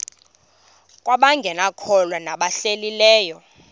kwabangekakholwa nabahlehli leyo